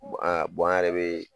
an an yɛrɛ bɛ